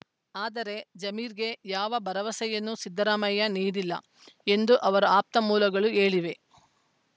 ಆದರೆ ಜಮೀರ್‌ಗೆ ಯಾವ ಭರವಸೆಯನ್ನೂ ಸಿದ್ದರಾಮಯ್ಯ ನೀಡಿಲ್ಲ ಎಂದು ಅವರ ಆಪ್ತ ಮೂಲಗಳು ಹೇಳಿವೆ